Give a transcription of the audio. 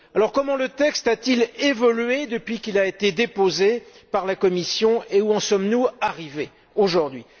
Comment le texte a t il évolué depuis qu'il a été déposé par la Commission et où en sommes nous aujourd'hui?